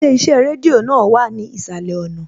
Ilé iṣẹ́ rédíò náà wà ní ìsàlẹ̀ ọ̀nà